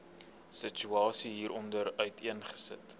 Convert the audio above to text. situasie hieronder uiteengesit